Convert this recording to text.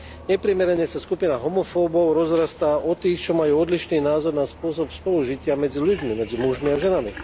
Neprimerane sa skupina homofóbov rozrastá o tých, čo majú odlišný názor na spôsob spolužitia medzi ľuďmi, medzi mužmi a ženami.